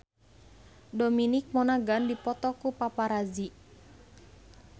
Dominic Monaghan dipoto ku paparazi